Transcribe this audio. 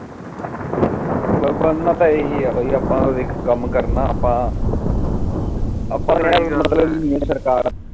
ਹਮ ਬਣ ਨਾ ਤਾ ਹੀ ਆ ਕਿ ਆਪ ਤਾ ਕਾਮ ਕਰਨਾ ਤਾ